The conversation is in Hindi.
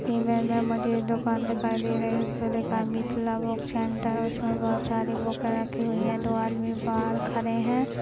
दुकान दिखाई दे रही उसमे बहुत सारे बूके रखी हुई है दो आदमी बाहर खड़े है।